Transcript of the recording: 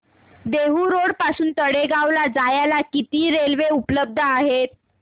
Dehu road पासून तळेगाव ला जायला किती रेल्वे उपलब्ध आहेत